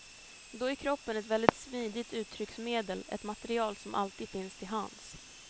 Då är kroppen ett väldigt smidigt uttrycksmedel, ett material som alltid finns till hands.